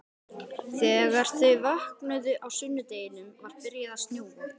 Þegar þau vöknuðu á sunnudeginum var byrjað að snjóa.